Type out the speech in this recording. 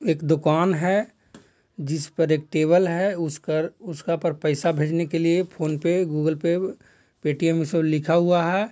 एक दुकान है जिस पर एक टेबल है ऊसपर उसका पर पैसा भेजने के लिए PhonePe Google Pay Paytm उ सब लिखा हुआ है।